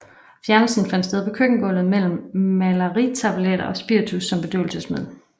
Fjernelsen fandt sted på køkkengulvet med mellariltableter og spiritus som bedøvelsesmiddel